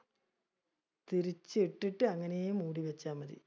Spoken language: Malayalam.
തിരിച്ച് ഇട്ടിട്ട് അങ്ങനെ മുടി വെച്ചാ മതി.